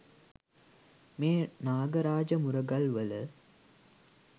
මෙම නාග රාජ මුරගල් වල